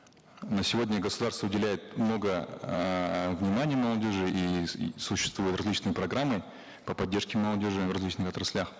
на сегодня государство уделяет много эээ внимания молодежи и существуют различные программы по поддержке молодежи в различных отраслях